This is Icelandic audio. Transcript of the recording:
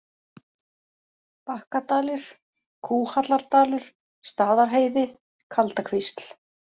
Bakkadalir, Kúhallardalur, Staðarheiði, Kaldakvísl